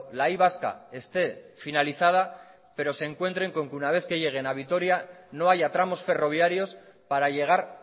la y vasca esté finalizada pero se encuentren con que una vez que lleguen a vitoria no haya tramos ferroviarios para llegar